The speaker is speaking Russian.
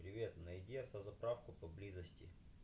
привет найди автозаправку поблизости